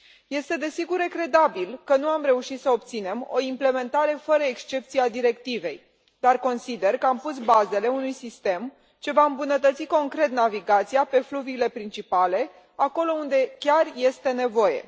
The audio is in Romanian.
Este desigur regretabil că nu am reușit să obținem o implementare fără excepție a directivei, dar consider că am pus bazele unui sistem ce va îmbunătăți concret navigația pe fluviile principale acolo unde chiar este nevoie.